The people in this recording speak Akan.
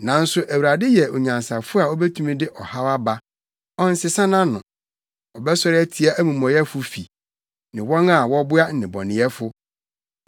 Nanso Awurade yɛ onyansafo a obetumi de ɔhaw aba; ɔnsesa nʼano. Ɔbɛsɔre atia amumɔyɛfo fi, ne wɔn a wɔboa nnebɔneyɛfo.